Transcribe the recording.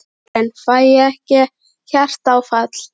Karen: Fæ ég ekki hjartaáfall?